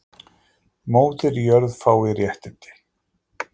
Móðir jörð fái réttindi